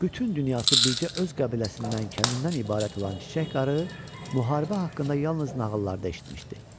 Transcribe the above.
Bütün dünyası bircə öz qəbiləsindən, kəndindən ibarət olan Çiçək qarı, müharibə haqqında yalnız nağıllarda eşitmişdi.